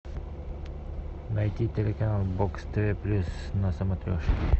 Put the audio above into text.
найти телеканал бокс тв плюс на смотрешке